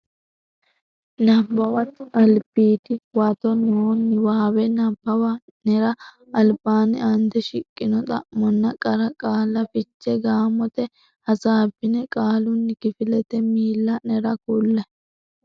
Nabbawate Albiidi Huwato noo niwaawe nabbawa nera albaanni aante shiqqino xa monna qara qaalla fiche gaamote hasaabbine qaalunni kifilete miilla nera kulle.